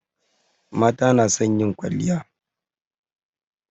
Mata na son yin kwalliya